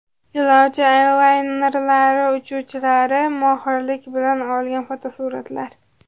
Yo‘lovchi avialaynerlari uchuvchilari mohirlik bilan olgan fotosuratlar .